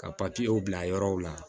Ka papiyew bila yɔrɔw la